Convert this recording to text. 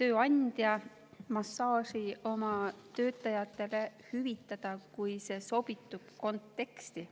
tööandja massaaži oma töötajatele hüvitada, kui see sobitub konteksti.